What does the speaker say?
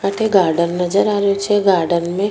अठे गार्डन नजर आ रो छे गार्डन में --